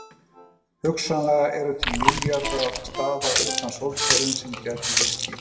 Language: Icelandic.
Hugsanlega eru til milljarðar staða utan sólkerfisins sem gætu hýst líf.